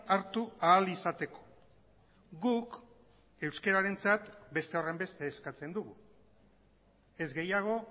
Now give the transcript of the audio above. hartu ahal izateko guk euskararentzat beste horrenbeste eskatzen dugu ez gehiago